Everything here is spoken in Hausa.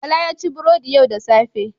Bala ya ci burodi yau da safe.